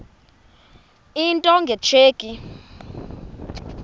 into nge tsheki